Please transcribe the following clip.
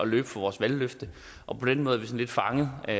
løbe fra vores valgløfte og på den måde er vi lidt fanget og